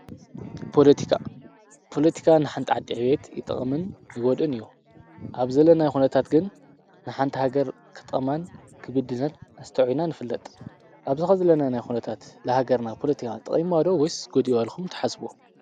ፖለቲካ፣ ፖለቲካ ንሓንቲ ዓዲ ዕብየት ይጠቕምን ይጉድእን እዩ። ኣብዘለናይ ኹነታት ግን ንሓንቲ ሃገር ክጠቅማን ክብድላን ኣስተውዒልና ንፍለጥ። ኣብዚ ሕዚ ዘለናዮ ናይ ኹነታት ንሃገርና ፖለቲካ ጠቂምዋ ዶ ወይስ ጐዲእዋ ኢልኩም ትሓስቡዎ?